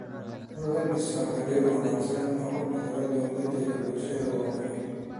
In la dhiso xiriir wanaagsan oo u dhexeeya dowladda iyo bulshada waa muhiim.